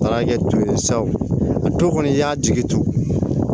Taara kɛ tulu ye sa a tulo kɔni i y'a jigi tu